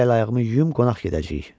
Mən də əl-ayağımı yuyum, qonaq gedəcəyik.